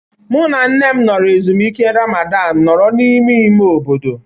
Mụ na nne m nọrọ ezumike Ramadan nọrọ n'ime ime obodo.